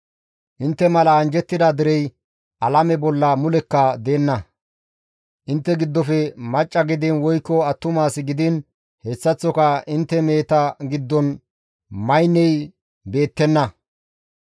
Intte mala anjjettida derey alame bolla mulekka deenna; intte giddofe macca gidiin woykko attumas gidiin hessaththoka intte meheta giddon maynney beettenna.